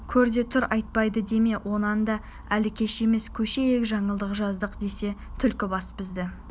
көр де тұр айтпады деме онан да әлі кеш емес көшейік жаңылдық жаздық десек түлкібас бізді